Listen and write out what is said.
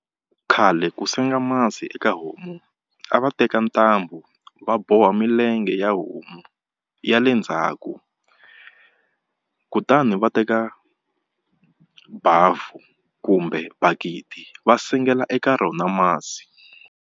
Khale ku senga masi eka homu a va teka ntambu va boha milenge ya homu ya le ndzhaku kutani va teka bavhu kumbe bakiti va sengela eka rona masi.